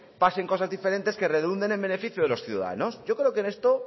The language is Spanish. pasen cosas diferentes que redunden en beneficio de los ciudadanos yo creo que esto